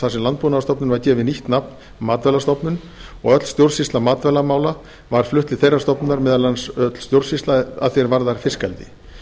þar sem landbúnaðarstofnun var gefið nýtt nafn matvælastofnun og öll stjórnsýsla matvælamála var flutt til þeirrar stofnunar meðal annars öll stjórnsýsla að því er varðar fiskeldi